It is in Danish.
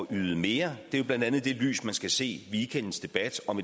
yde mere det er blandt andet i det lys man skal se weekendens debat om